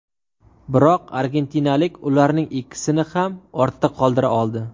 Biroq argentinalik ularning ikkisini ham ortda qoldira oldi.